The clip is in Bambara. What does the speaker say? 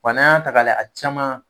Wa n'an y'a ta k'a lajɛ a caman